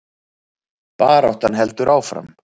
Baráttan heldur áfram